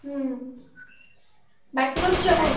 ହୁଁ ବାର୍ଷିକ ଉତ୍ସବ ହଉଥିଲା ଏଇ କଥା କହିଥାନ୍ତୁ।